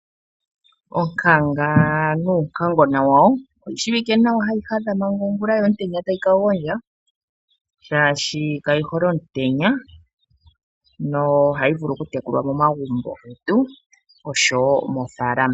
Oonkanga nuunkangona wawo, oyi shiwike nawa hayi hadha manga ongula yo omutenya tayi ka gondja shaashi kayi hole omutenya. Ohayi vulu okutekulwa momagumbo getu nosho wo moofaalama.